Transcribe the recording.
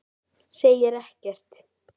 Segir ekkert.